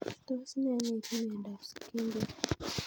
Tos nee neipu mionop Schindler